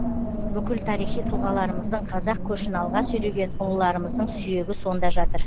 бүкіл тарихи тұлғаларымыздың қазақ көшін алға сүйреген ұлыларымыздың сүйегі сонда жатыр